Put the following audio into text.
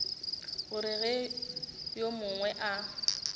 gore ge yo mongwe a